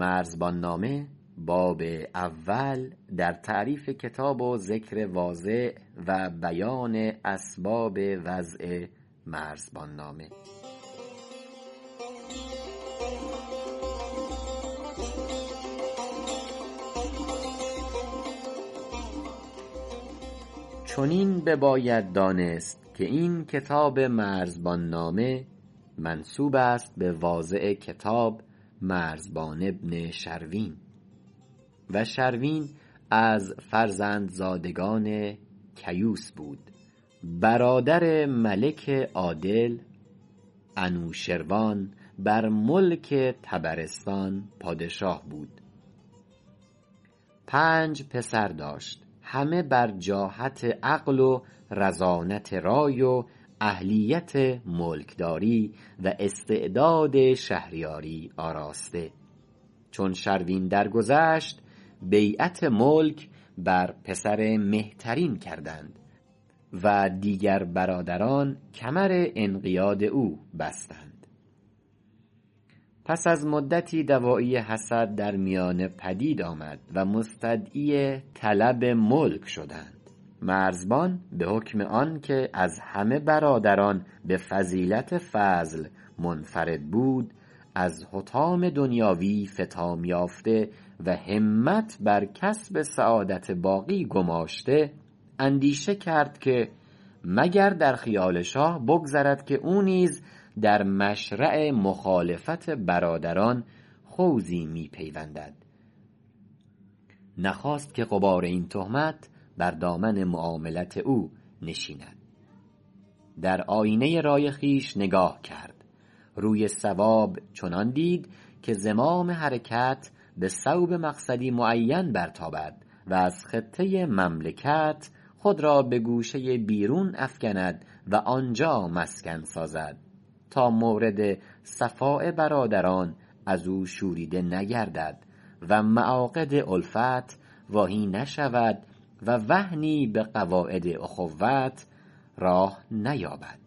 چنین بباید دانست که این کتاب مرزبان نامه منسوبست بواضع کتاب مرزبان بن شروین و شروین از فرزندزادگان کیوس بود برادر ملک عادل انوشروان بر ملک طبرستان پادشاه بود پنج پسر داشت همه بر جاحت عقل ورزانت رای و اهلیت ملک داری و استعداد شهریاری آراسته چون شروین در گذشت بیعت ملک بر پسر مهترین کردند و دیگر برادران کمر انقیاد او بستند پس از مدتی دواعی حسد در میانه پدید آمد و مستدعی طلب ملک شدند مرزبان بحکم آنک از همه برادران بفضیلت فضل منفرد بود از حطام دنیاوی فطام یافته و همت بر کسب سعادت باقی گماشته اندیشه کرد که مگر در خیال شاه بگذرد که او نیز در مشرع مخالفت برادران خوضی می پیوندد نخواست که غبار این تهمت بر دامن معاملت او نشیند در آیینه رای خویش نگاه کرد روی صواب چنان دید که زمام حرکت بصوب مقصدی معین برتابد و از خطه مملکت خود را بگوشه بیرون افکند و آنجا مسکن سازد تا مورد صفاء برادران ازو شوریده نگردد و معاقد الفت واهی نشود و وهنی بقواعد اخوت راه نیابد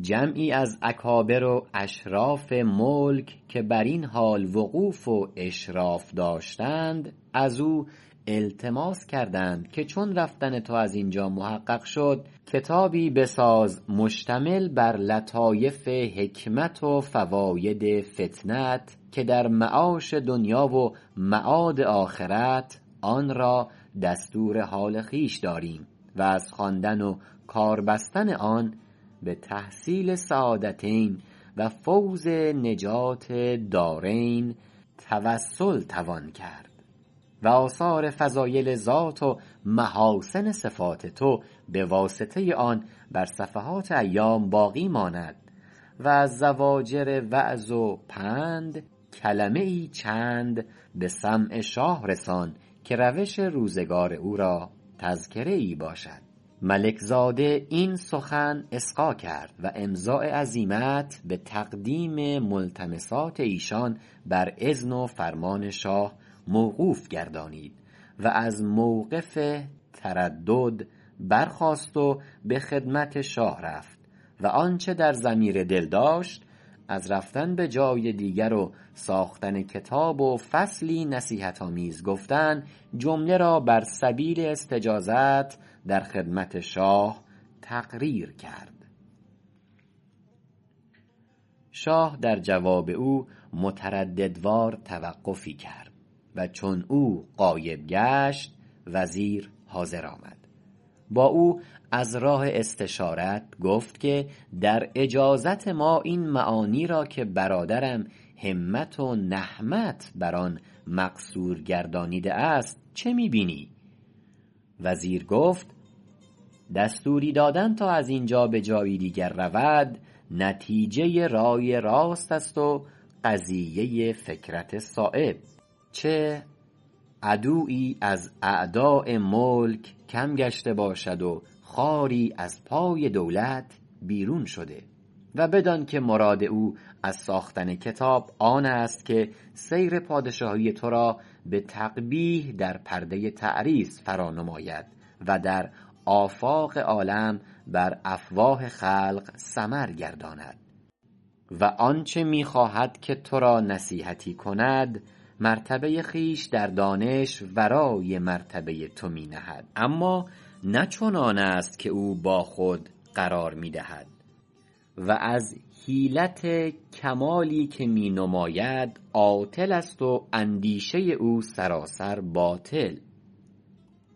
جمعی از اکابر و اشراف ملک که برین حال وقوف و اشراف داشتند ازو التماس کردند که چون رفتن تو از اینجا محقق شد کتابی بساز مشتمل بر لطایف حکمت و فواید فطنت که در معاش دنیا و معاد آخرت آنرا دستور حال خویش داریم و از خواندن و کار بستن آن بتحصیل سعادتین و فوز نجات دارین توسل توان کرد و آثار فضایل ذات و محاسن صفات تو بواسطه آن بر صفحات ایام باقی ماند و از زواجر وعظ و پند کلمه چند بسمع شاد رسان که روش روزگار او را تذکره باشد ملک زاده این سخن اصغا کرد و امضاء عزیمت بتقدیم ملتمسات ایشان بر اذن و فرمان شاه موقوف گردانید و از موقف تردد برخاست و بخدمت شاه رفت و آنچ در ضمیر دل داشت از رفتن بجای دیگر و ساختن کتاب و فصلی نصیحت آمیز گفتن جمله را بر سبیل استجازت در خدمت شاه تقریر کرد شاه در جواب او مترددوار توقفی کرد و چون او غایب گشت وزیر حاضر آمد با او از راه استشارت گفت که در اجازت ما این معانی را که برادرم همت و نهمت بر آن مقصور گردانیده است چه می بینی وزیر گفت دستوری دادن تا از اینجا بجایی دیگر رود نتیجه رای راستست و قضیه فکرت صایب چه عدویی از اعداء ملک کم گشته باشد و خاری از پای دولت بیرون شده و بدانک مراد او از ساختن کتاب آنست که سیر پادشاهی ترا بتقبیح در پرده تعریض فرا نماید و در آفاق عالم بر افواه خلق سمر گرداند و آنچ میخواهد که ترا نصیحتی کند مرتبه خویش در دانش ورای مرتبه تو می نهد اما نه چنانست که او با خود قرار میدهد و از حیلت کمالی که می نماید عاطلست و اندیشه او سراسر باطل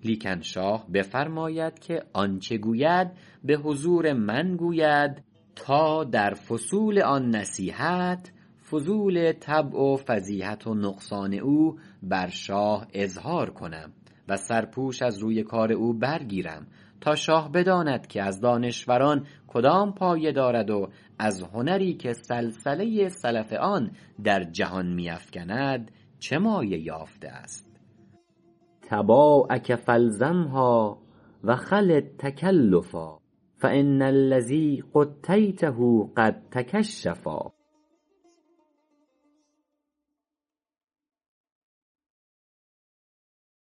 لیکن شاه بفرماید که آنچ گوید بحضور من گوید تا در فصول آن نصیحت فضول طبع و فضیحت و نقصان او بر شاه اظهار کنم و سرپوش از روی کار او برگیرم تا شاه بداند که از دانشوران کدام پایه دارد و از هنری که صلصله صلف آن در جهان می افکند چه مایه یافتست طباعک فالزمها و خل التکلفا فان الذی غطیته قد تکشفا